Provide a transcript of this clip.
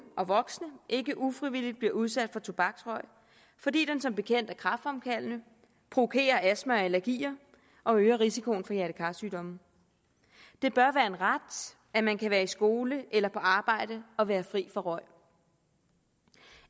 og voksne ikke ufrivilligt bliver udsat for tobaksrøg fordi den som bekendt er kræftfremkaldende provokerer astma og allergier og røger risikoen for hjerte kar sygdomme det bør være en ret at man kan være i skole eller på arbejde og være fri for røg